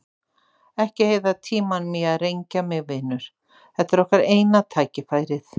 Ekki eyða tímanum í að rengja mig, vinur, þetta er okkar eina tækifærið.